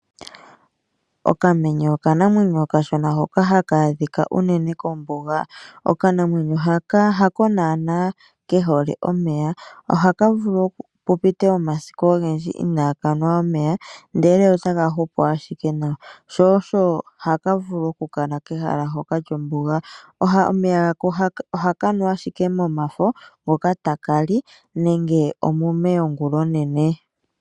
Okamenye okanamwenyo okashona hoka haka adhika unene kombuga. Okanamwenyo haka hako naana kehole omeya . Ohaka vulu pu pite omasiku ogendji ina kanwa omeya ndele otaka hupu ashike nawa, sho osho haka vulu oku kala kehala hoka lyombuga. Omeya ohaka nu ashike momafo ngoka taka li nenge omume yongulonene.